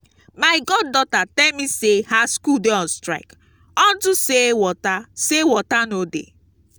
my god daughter tell me say her school dey on strike unto say water say water no dey